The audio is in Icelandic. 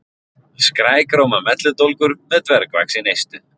Skrækróma melludólgur með dvergvaxin eistu.